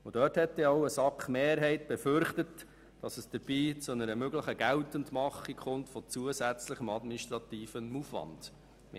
Eine SAKMehrheit hat denn auch befürchtet, dass es dabei zu einer möglichen Geltendmachung zusätzlichen administrativen Aufwands kommt.